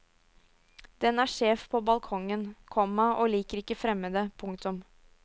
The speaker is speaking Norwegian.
Den er sjef på balkongen, komma og liker ikke fremmede. punktum